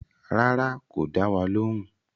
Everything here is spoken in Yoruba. Rárá, kò dá wa lóhùn